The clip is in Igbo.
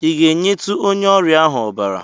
I ga-enyetụ onye ọrịa ahụ ọbara?